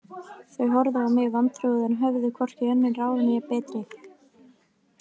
Þau horfðu á mig vantrúuð en höfðu hvorki önnur ráð né betri